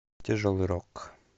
тяжелый рок